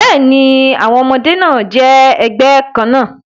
Bẹ́ẹ̀ni, àwọn ọmọdé náà jẹ́ ẹgbẹ́ kan náà